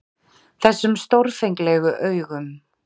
Þessum stórfenglegu augum.